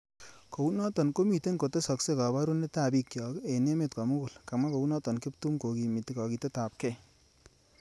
Kounoto komitei kotesakse kaborunetab bik chok eng emet komugul kamwa kounot kiptum kokimiti kakiketabkei